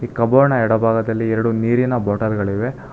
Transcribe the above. ಕಬೋರ್ಡ್ನ ಎಡಭಾಗದಲ್ಲಿ ಎರಡು ನೀರಿನ ಬಾಟಲ್ ಗಳಿವೆ.